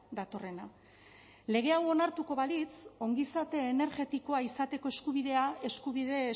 datorrena lege hau onartuko balitz ongizate energetikoa izateko eskubidea eskubide